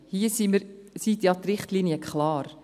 Hier sind die Richtlinien klar.